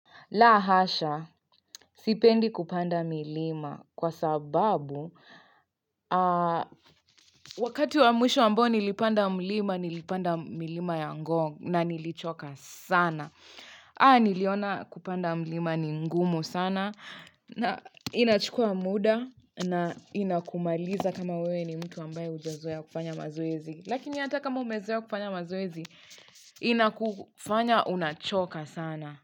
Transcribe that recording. La hasha, sipendi kupanda milima kwa sababu wakati wa mwisho ambao nilipanda mlima, nilipanda milima ya ngong na nilichoka sana. Haa niliona kupanda mlima ni ngumu sana na inachukua muda na inakumaliza kama wewe ni mtu ambaye hujazoea kufanya mazoezi. Lakini hata kama umezoea kufanya mazoezi, inakufanya unachoka sana.